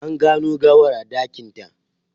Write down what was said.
An gano gawar a dakinta.